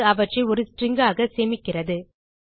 இது அவற்றை ஒரு ஸ்ட்ரிங் ஆக சேமிக்கிறது